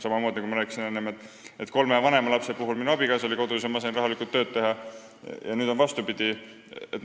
Samamoodi, nagu ma enne rääkisin, oli kolme vanema lapse puhul minu abikaasa kodus ja ma sain rahulikult tööd teha, nüüd on vastupidi.